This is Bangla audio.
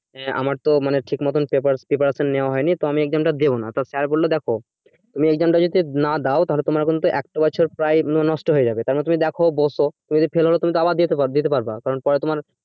আমার তো ঠিক মতো preparation preperation নেওয়া হয়নি তো আমি exam টা দিব না তো sir বলল দেখ তুমি exam টা যদি না দাও তাহলে তোমার একটা বছর প্রায় নষ্ট হয়ে যাবে তাহলে তুমি দেখো বসো যদি fail হও তুমি তো আবার দিতে পারবে দিতে পারবা কারণ পরে তোমার